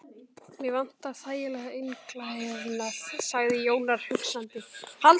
Mig vantar þægilegan inniklæðnað, sagði Jón Ólafur hugsandi.